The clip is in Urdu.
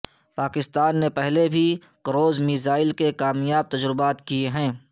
پاکستان نے پہلے بھی کروز میزائل کے کامیاب تجربات کیے ہیں